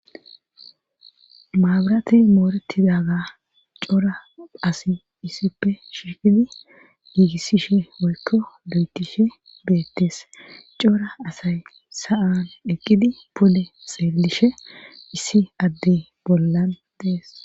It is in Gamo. Maabaratey moorettidaga cora asi issippe shiiqidi giigissishe woykko lo7etishe beettes cora asay sa7an eqqidi pole xeelishe issi adde bollan dees.